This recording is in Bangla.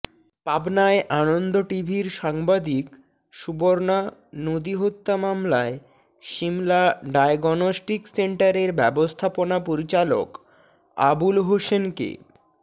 পাবনায় আনন্দ টিভির সাংবাদিক সুবর্ণা নদী হত্যা মামলায় শিমলা ডায়গনস্টিক সেন্টারের ব্যবস্থাপনা পরিচালক আবুল হোসেনকে